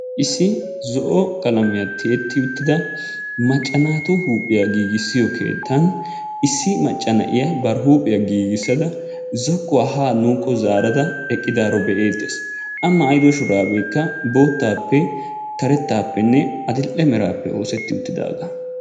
Issi zo'o qalamiya tiyeti uttida macca naatu huuphiyaa giigissiyo keettan issi macca na'iya bari huuphiyaa giigissada zokuwa ha nuukko zaarada eqqidaaro be"ettees. A maayyido shurabeekka boottappe, karettappenne adl"e merappe oosetti uttidaaga.